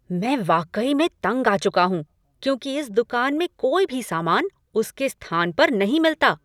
मैं वाकई में तंग आ चुका हूँ क्योंकि इस दुकान में कोई भी सामान उसके स्थान पर नहीं मिलता।